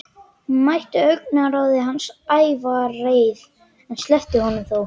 Hún mætti augnaráði hans, ævareið, en sleppti honum þó.